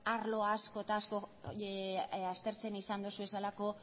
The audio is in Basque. arlo asko eta asko aztertzen izan dituzuelako